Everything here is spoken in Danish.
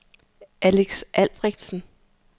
Alex Albrechtsen